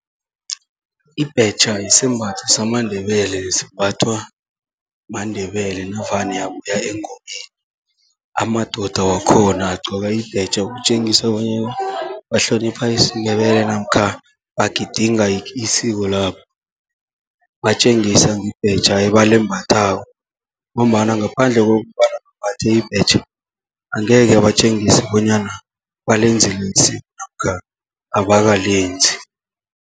Ibhetjha yisembatho samaNdebele, simbathwa maNdebele navane abuya engomeni. Amadoda wakhona agcoka ibhetjha ukutjengisa bonyana, bahlonipha isiNdebele namkha bagidinga isiko labo, batjengisa ngebhetjha ebalembathako. Ngombana ngaphandle kokobana bambathe ibhetjha, angekhe batjengise bonyana balenzile isiko namkha abakalenzi.